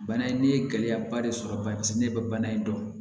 Bana in ne ye gɛlɛyaba de sɔrɔ bana paseke ne bɛ bana in dɔn